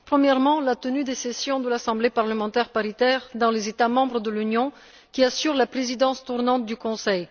Premièrement, la tenue des sessions de l'Assemblée parlementaire paritaire dans les États membres de l'Union qui assurent la présidence tournante du Conseil.